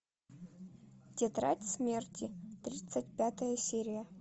тетрадь смерти тридцать пятая серия